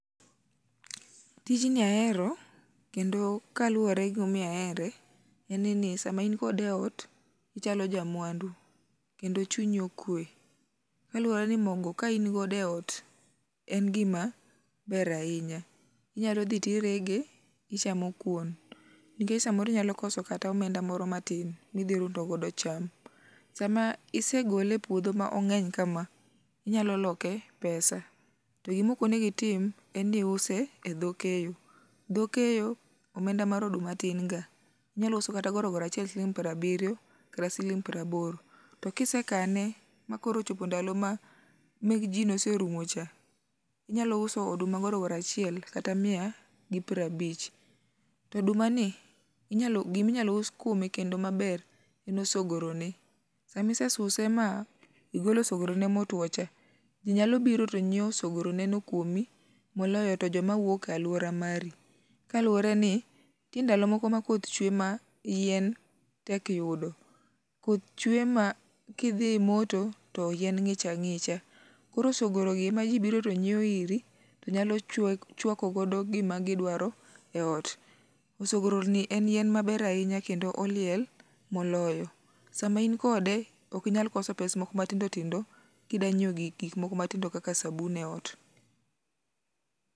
Tijni ahero kendo kaluwore ni gima omiyo ahere, sama in kode eot ichalo jamwandu. Kendo chunyi okwe kaluore ni mogo ka in godo eot en gima ber ahinya. Inyalo dhi tirege to ichamo kuon nikech samoro inyalo koso kata omenda moro matin, midhi rundo godo cham. Sama isegole epuodho mong'enykama, inyalo loke pesa. To gima ok onego itim en ni iuse edho keyo. Dho keyo omenda mar oduma tin ga, inyalo use kata siling' piero abiriyo kata siling' piero aboro. To ka isekane makoro ochopo ndalo ma mekji noserumo cha, inyalo uso oduma gorogoro achiel kata miya gi piero abich. To odumani gima inyalo us kuome maber en osogro ne. Sama ise suse ma igolo osogro ne motwo te, ji nyalo biro to nyiewo osogro neno kuomi moloyo to joma wuok e aluora mari. Kaluwore ni nitie ndalo moko ma koth chwe ma yien tek yudo, koth chwe makidhi moto to yien ng'ich ang'icha, koro osogorogi ema ji biro to nyiewo iri to nyalo chuako godo gima gidwaro eot. Osogoroni en yien maber ahinya kendo oliel moloyo. Sama in kode ok inyal koso pes moko matindo tindo kidwa nyiewo gik moko matindo kaka sabun eot.